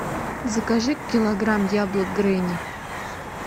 закажи килограмм яблок гренни